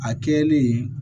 A kɛlen